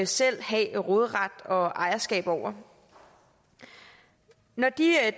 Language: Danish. selv have råderet og ejerskab over når de